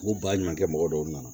U ba ɲumankɛ mɔgɔ dɔw na